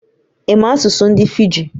Ị̀ ma asụsụ ndị Fiji?